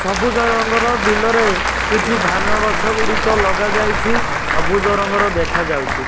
ସବୁଜ ରଙ୍ଗର ବିଲରେ କିଛି ଧାନଗଛଗୁଡ଼ିକ ଲଗାଯାଇଛି ସବୁଜ ରଙ୍ଗର ଦେଖାଯାଉଛି।